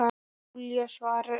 Júlía svarar engu.